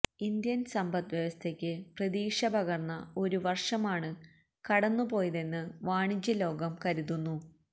Indian സമ്പദ് വ്യവസ്ഥയ്ക്ക് പ്രതീക്ഷ പകർന്ന ഒരുവർഷമാണ് കടന്നുപോയതെന്ന് വാണിജ്യ ലോകം കരുതുന്നു